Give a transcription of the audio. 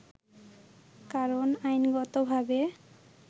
কারন আইনগতভাবে